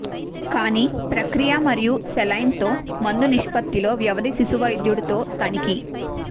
కానీ ప్రక్రియ మరియు సెలైన్ తో మందు నిష్పత్తిలో వ్యవధి శిశువైద్యుడు తో తనిఖీ